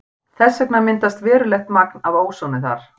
Þess vegna myndast verulegt magn af ósoni þar.